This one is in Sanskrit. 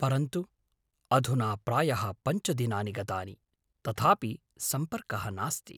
परन्तु अधुना प्रायः पञ्चदिनानि गतानि, तथापि सम्पर्कः नास्ति।